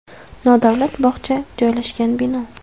Nodavlat bog‘cha joylashgan bino.